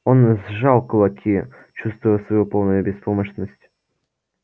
он сжал кулаки чувствуя свою полную беспомощность